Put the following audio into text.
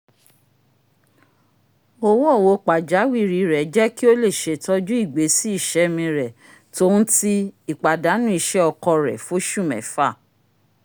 owo-owo pajawiri rẹ jẹ ki o lè ṣetọju igbesi iṣẹmi rẹ tòhún ti ìpàdánù iṣẹ ọkọ rẹ foṣu mẹfa"